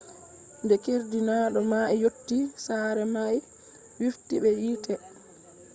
de keerdinaado mai yotti sare mai wifti be yite